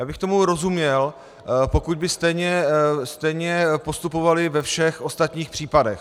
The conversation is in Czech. Já bych tomu rozuměl, pokud by stejně postupovali ve všech ostatních případech.